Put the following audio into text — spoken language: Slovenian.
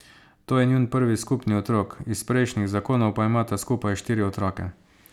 To je njun prvi skupni otrok, iz prejšnjih zakonov pa imata skupaj štiri otroke.